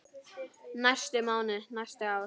næstu mánuði, næstu ár.